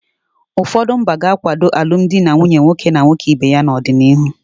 Ụfọdụ mba ga-akwado alụmdi na nwunye nwoke na nwoke ibe ya n'ọdịnihu.